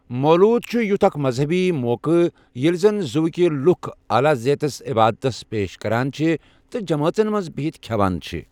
مولوٗد چُھ یُیھ اكھ مزہبی موقہٕ ییلہِ زن زوِكہِ لُكھ عالا ذیتس عبادتس پیش كران چھِ تہٕ جمٲژن منز بِہِتھ كھیوان چھِ ۔